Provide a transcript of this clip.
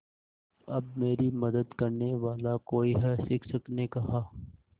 अब मेरी मदद करने वाला कोई है शिक्षक ने कहा